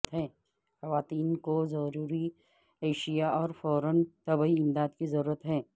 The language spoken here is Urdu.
خواتین کو ضروری اشیاء اور فوری طبی امداد کی ضرورت ہے